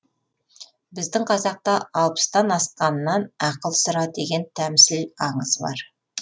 біздің қазақта алпыстан асқаннан ақыл сұра деген тәмсіл аңыз бар